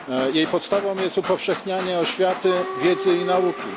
Jej podstawą jest upowszechnianie oświaty, wiedzy i nauki.